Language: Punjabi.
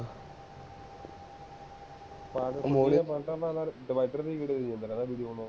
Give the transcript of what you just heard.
ਉਹ ਤਾਂ ਨਾਲ divider ਦੀ video ਹੀ ਦੇਂਦਾ ਰਹਿੰਦਾ, video ਬਣਾਓ